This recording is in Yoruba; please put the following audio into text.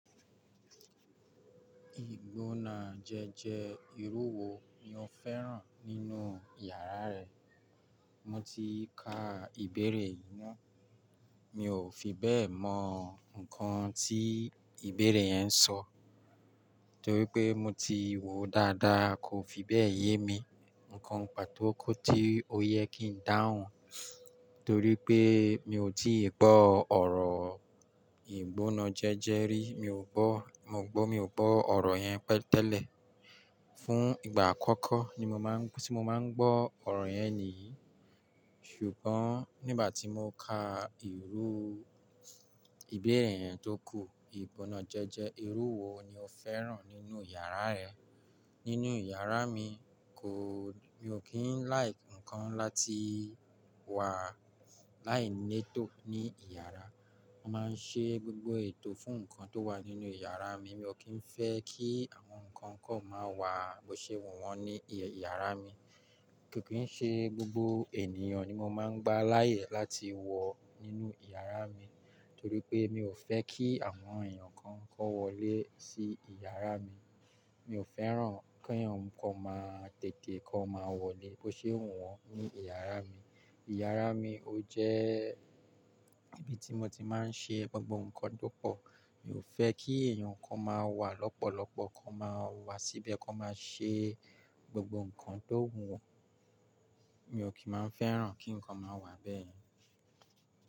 Ìgbónájẹjẹ ìrú wo ni o fẹ́ràn nínú yàrá ẹ? Mo ti ka ìbéèrè yìí mọ̀, mi ò fi bẹ́ẹ̀ mọ nǹkan tí ìbéèrè yẹn ń sọ, torí pé mo ti wòó dáadáa kò fi bẹ́ẹ̀ yé mi. Ǹǹkan pàtóko tí ó yẹ kí n dáhùn, torí pé mi ò tí ì gbọ́ ọ̀rọ̀ ìgbónájẹjẹ rí, mi ò gbọ́, mo gbọ́ mi ò gbọ́ ọ̀rọ̀ yẹn tẹ́lẹ̀. Fún ìgbà àkọ́kọ́ ni mo máa ń, tí mo máa ń gbọ́ ọ̀rọ̀ yẹn nìyí. Ṣùgbọ́n nígbà tí mo ka ìrú ìbéèrè yẹn tó kù, ìgbónájẹjẹ ìrú wo ni o fẹ́ràn nínú yàrá ẹ? Nínú yàrá mi, kò, mi ò kí ń like ǹkan láti wà láì nẹ́tò ní ìyàrá. Mo máa ń ṣe gbogbo ètò fún ǹkan tó wà nínú yàrá mi, mi ò kí ń fẹ́ kí àwọn ǹkan kan máa wà bó ṣe wọ́n wọn ní ìyàrá mi. Kìkì ṣe gbogbo ènìyàn ni mo máa ń gbà láàyè láti wọ̀ nínú ìyàrá mi, torí pé mi ò fẹ́ kí àwọn èèyàn kan kọ́ wọlé sí ìyàrá mi. Mi ò fẹ́ràn kí èèyàn kan máa tètè kọ máa wọlé bó ṣe wọ́n wọn ní ìyàrá mi. Ìyàrá mi ó jẹ́ ibi tí mo ti máa ń ṣe gbogbo ǹkan tó pọ̀. Mi ò fẹ́ kí èèyàn kan máa wà lọ́pọ̀lọpọ̀, kan máa wà síbẹ̀, kan máa ṣe gbogbo ǹkan tó wù wọ́n. Mi ò kí máa ń fẹ́ràn kí ǹkan máa wà bẹ́ẹ̀.